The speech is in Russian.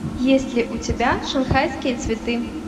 есть ли у тебя шанхайские цветы